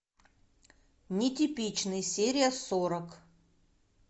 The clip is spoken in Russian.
нетипичный серия сорок